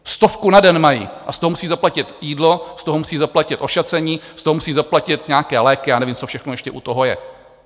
Stovku na den mají a z toho musí zaplatit jídlo, z toho musí zaplatit ošacení, z toho musí zaplatit nějaké léky, já nevím, co všechno ještě u toho je.